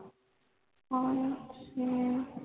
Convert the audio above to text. ਹਾਂ ਜੀ